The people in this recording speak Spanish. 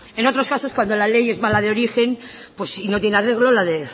en otros casos cuando la ley es mala de origen y no tiene arreglo